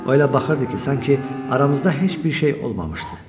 O elə baxırdı ki, sanki aramızda heç bir şey olmamışdı.